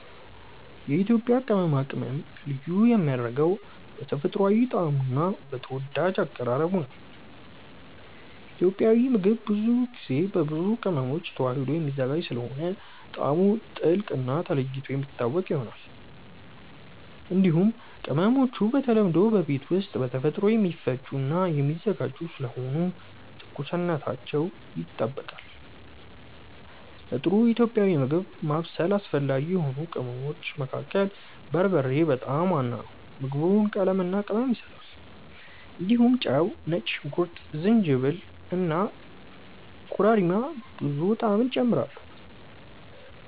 የኢትዮጵያ ቅመማ ቅመም ልዩ የሚያደርገው በተፈጥሯዊ ጣዕሙ እና በተወዳጅ አቀራረቡ ነው። ኢትዮጵያዊ ምግብ ብዙ ጊዜ በብዙ ቅመሞች ተዋህዶ የሚዘጋጅ ስለሆነ ጣዕሙ ጥልቅ እና ተለይቶ የሚታወቅ ይሆናል። እንዲሁም ቅመሞቹ በተለምዶ በቤት ውስጥ በተፈጥሮ የሚፈጩ እና የሚዘጋጁ ስለሆኑ ትኩስነታቸው ይጠበቃል። ለጥሩ ኢትዮጵያዊ ምግብ ማብሰል አስፈላጊ የሆኑ ቅመሞች መካከል በርበሬ በጣም ዋና ነው። ምግቡን ቀለምና ቅመም ይሰጣል። እንዲሁም ጨው፣ ነጭ ሽንኩርት፣ ጅንጅብል እና ኮረሪማ ብዙ ጣዕም ይጨምራሉ።